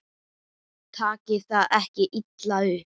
Takið það ekki illa upp.